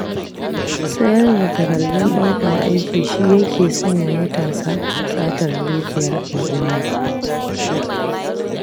Sayar da takardun ɗaukar aiki shi ya ke sanya matasa satar dukiyar al'umma.